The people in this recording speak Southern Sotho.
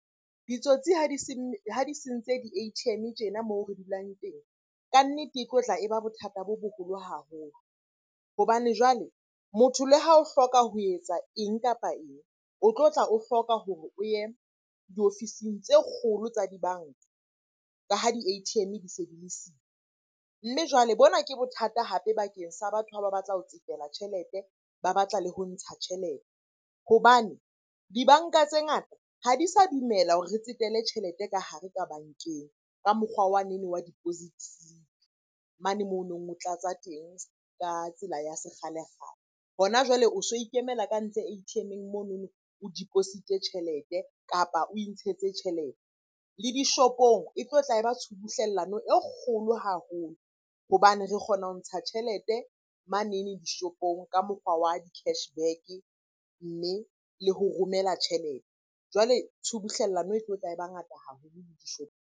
Ditsotsi ha di se , ha di sentse di-A_T_M-e tjena moo re dulang teng. Kannete e tlotla e ba bothata bo boholo haholo hobane jwale motho le ha o hloka ho etsa eng kapa eng, o tlo tla o hloka hore o ye diofising tse kgolo tsa dibanka ka ha di-A_T_M-e di se di le siyo. Mme jwale bona ke bothata hape bakeng sa batho ha ba batla ho tsetela tjhelete, ba batla le ho ntsha tjhelete. Hobane dibanka tse ngata ha di sa dumela hore re tsetele tjhelete ka hare ka bankeng. Ka mokgwa wanene wa deposit-ing mane monong o tlatsa teng ka tsela ya sekgale-kgale. Hona jwale o so ikemela ka ntle A_T_M-eng monono, o deposit-e tjhelete, kapa o intshetsa tjhelete. Le dishopong e tlotla e ba tshubuhlellano e kgolo haholo hobane re kgona ho ntsha tjhelete manene dishopong ka mokgwa wa di-cashback-e, mme le ho romela tjhelete. Jwale tshubuhlellano e tlotla e ba ngata haholo dishopong.